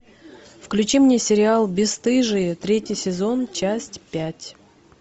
включи мне сериал бесстыжие третий сезон часть пять